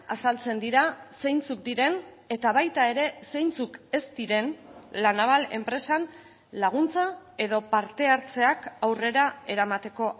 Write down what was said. azaltzen dira zeintzuk diren eta baita ere zeintzuk ez diren la naval enpresan laguntza edo parte hartzeak aurrera eramateko